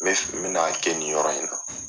N bɛ fe n bɛn'a kɛ nin yɔrɔ in na